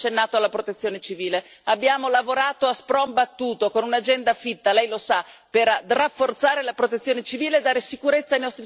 Abbiamo lavorato a spron battuto, con un'agenda fitta, lei lo sa, per rafforzare la protezione civile e dare sicurezza ai nostri cittadini anche su questo fronte.